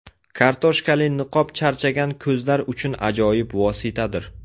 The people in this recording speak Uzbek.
Kartoshkali niqob charchagan ko‘zlar uchun ajoyib vositadir.